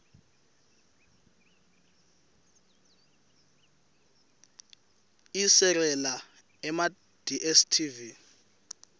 iserela emadstv